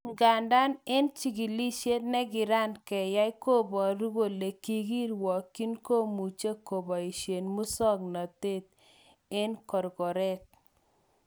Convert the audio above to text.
Igandan eng chikilishet nekiran keyai koboru kole nekikirwokyin komuche koboishen musoknotet eng korkoret.